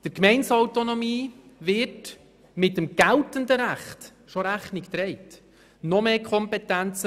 Der Gemeindeautonomie wird mit dem geltenden Recht bereits Rechnung getragen.